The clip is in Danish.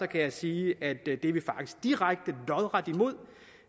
kan jeg sige at det er vi faktisk direkte lodret imod